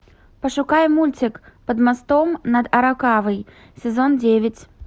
пошукай мультик под мостом над аракавой сезон девять